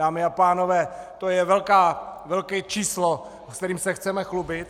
Dámy a pánové, to je velké číslo, se kterým se chceme chlubit?